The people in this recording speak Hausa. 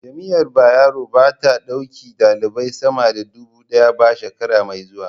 Jami'ar Bayero ba ta ɗauki ɗalibai sama da duba ɗaya ba shekara mai zuwa